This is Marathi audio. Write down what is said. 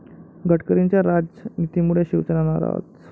गडकरींच्या 'राज'नितीमुळे शिवसेना नाराज